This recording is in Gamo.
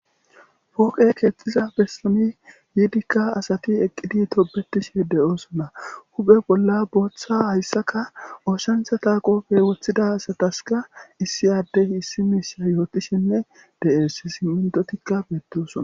fooqe keexxiza besomi yiidikka asati eqqidi tobetishe de7oosona huphe bolla booththa hayssaka oosantha taaqopfe woththida asataska issi aaddey issi miisha yootishenne de7es simmintotikka beettosona